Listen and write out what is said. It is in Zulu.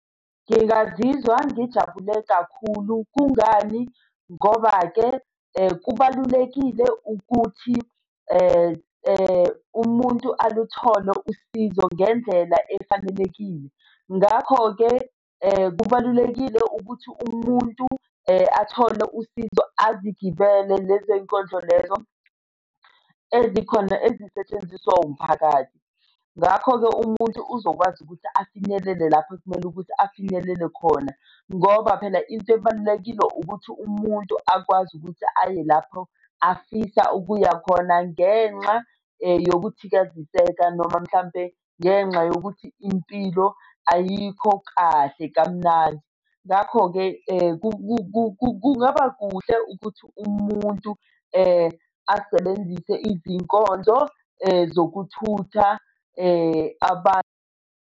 Ngingazizwa ngijabule kakhulu. Kungani? Ngoba-ke kubalulekile ukuthi umuntu aluthole usizo ngendlela efanelekile. Ngakho-ke kubalulekile ukuthi umuntu athole usizo, azigibele lezo y'nkonzo lezo ezikhona ezisetshenziswa umphakathi. Ngakho-ke umuntu uzokwazi ukuthi afinyelele lapho ekumele ukuthi afinyelele khona, ngoba phela into ebalulekile ukuthi umuntu akwazi ukuthi aye lapho afisa ukuya khona ngenxa yokuthikaziseka noma mhlampe ngenxa yokuthi impilo ayikho kahle kamnandi. Ngakho-ke kungaba kuhle ukuthi umuntu asebenzise izinkonzo zokuthutha abantu.